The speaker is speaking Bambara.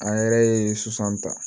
An yɛrɛ ye sisan ta